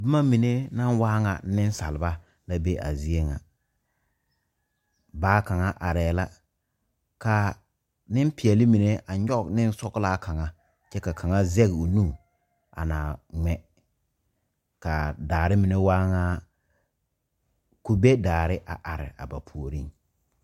Boma mine naŋ waa ŋa nensalba la be a zie ŋa baa kaŋa arɛɛ la ka nempeɛle mine a nyɔge nensɔglaa kaŋa kyɛ ka kaŋa zɛge o nu a na ŋmɛ ka daare mine waa ŋa kube daare a are a ba puoriŋ.